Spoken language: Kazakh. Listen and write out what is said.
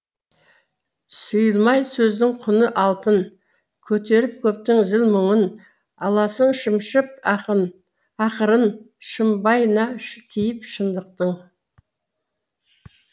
сұйылмай сөздің құны алтын көтеріп көптің зіл мұңын аласың шымшып ақырын шымбайына тиіп шындықтың